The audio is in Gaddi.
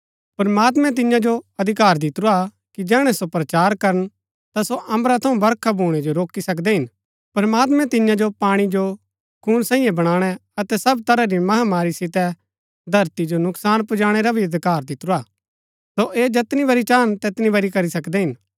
प्रमात्मैं तिन्या जो अधिकार दितुरा हा कि जैहणै सो प्रचार करन ता सो अम्बरा थऊँ बरखा भूणै जो रोकी सकदै हिन प्रमात्मैं तिन्या जो पाणी जो खून सांईये बणाणै अतै सब तरह री महामारी सितै धरती जो नुकसान पुजाणै रा भी अधिकार दितुरा हा सो ऐह जैतनी बरी चाहन तैतनी बरी करी सकदै हिन